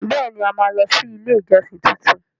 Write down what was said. Bẹẹni! A máa lọ sí ilé ìjọsìn tuntun.